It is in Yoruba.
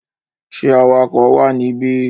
Ṣé awakọ̀ wà níbí?